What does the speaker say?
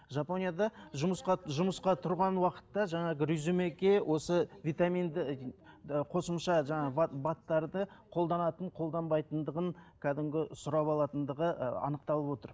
жапонияда жұмысқа жұмысқа тұрған уақытта жаңағы резюмеге осы витаминді қосымша жаңағы бад бад тарды қолданатын қолданбайтындығын кәдімгі сұрап алатындығы ыыы анықталып отыр